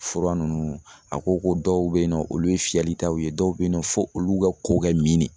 Fura nunnu a ko ko dɔw be yen nɔ olu ye fiyɛli taw ye dɔw be yen nɔ fɔ olu ka ko ka min ne